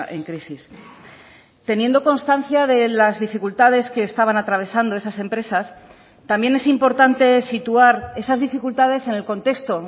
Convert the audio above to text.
en crisis teniendo constancia de las dificultades que estaban atravesando esas empresas también es importante situar esas dificultades en el contexto